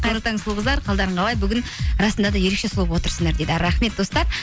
қайырлы таң сұлу қыздар қалдарың қалай бүгін расында да ерекше сұлу болып отырсыңдар дейді рахмет достар